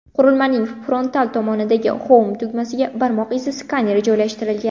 Qurilmaning frontal tomonidagi Home tugmasiga barmoq izi skaneri joylashtirilgan.